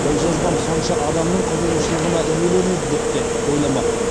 ол жазбам сонша адамның қызуғышылығына иеленеді деп те ойламаппын